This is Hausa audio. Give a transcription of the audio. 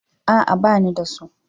A'a, ba ni da su.